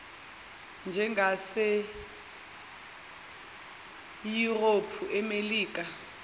njengase yurophu emelika